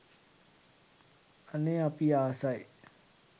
අනේ අපි ආසයි